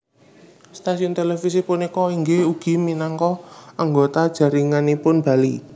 Stasiun televisi punika inggih ugi minangka anggota jaringanipun Bali